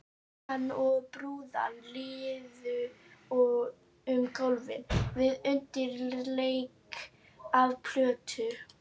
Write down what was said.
Hann og brúðan liðu um gólfið við undirleik af plötu.